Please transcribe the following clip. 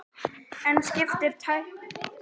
En skiptir tæknin nokkru máli í raun og veru?